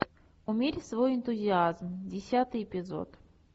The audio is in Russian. умерь свой энтузиазм десятый эпизод